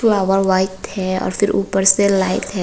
यहां पर व्हाइट है और फिर ऊपर से लाइट है।